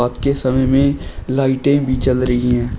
के समय में लाइटे भी जल रही है।